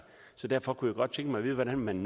så derfor kunne jeg godt tænke mig at vide hvordan man